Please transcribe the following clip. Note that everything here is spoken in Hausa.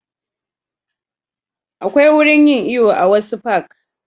Akwai wurin yin iyo a wasu fak